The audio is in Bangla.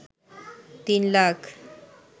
৩ লাখ